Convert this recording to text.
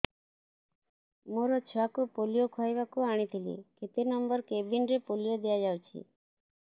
ମୋର ଛୁଆକୁ ପୋଲିଓ ଖୁଆଇବାକୁ ଆଣିଥିଲି କେତେ ନମ୍ବର କେବିନ ରେ ପୋଲିଓ ଦିଆଯାଉଛି